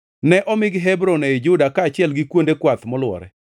Ne omigi Hebron ei Juda kaachiel gi kuonde kwath molwore.